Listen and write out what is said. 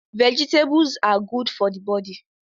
Vegetables are godo for the body